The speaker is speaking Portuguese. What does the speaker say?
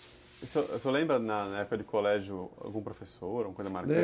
O senhor senhor lembra na na época de colégio algum professor, alguma coisa marcante? Lembro.